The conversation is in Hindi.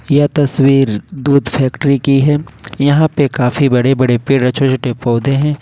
यह तस्वीर दूध फैक्ट्री की है यहां पे काफी बड़े बड़े पेड़ और छोटे पौधे हैं।